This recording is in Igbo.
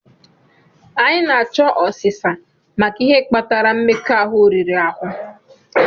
Anyị na-achọ ọsisa maka ihe kpatara mmekọahụ riri ahụ.